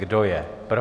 Kdo je pro?